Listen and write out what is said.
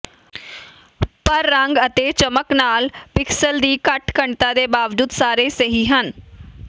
ਪਰ ਰੰਗ ਅਤੇ ਚਮਕ ਨਾਲ ਪਿਕਸਲ ਦੀ ਘੱਟ ਘਣਤਾ ਦੇ ਬਾਵਜੂਦ ਸਾਰੇ ਸਹੀ ਹਨ